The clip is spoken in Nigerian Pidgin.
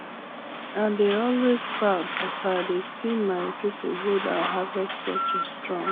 i dey always proud as i dey see my people hold our harvest culture strong